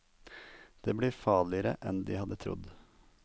Det blir farligere enn de hadde trodd.